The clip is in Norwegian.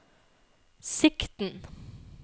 sikten